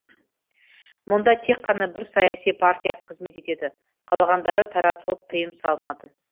мұнда тек қана бір саяси партия қызмет етеді қалғандары таратылып тыйым салынады